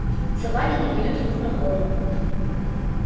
собаки не дают ему проходу